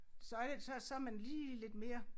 Så er det så så man lige lidt mere